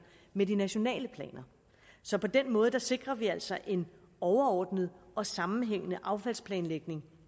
med de nationale planer så på den måde sikrer vi altså en overordnet og sammenhængende affaldsplanlægning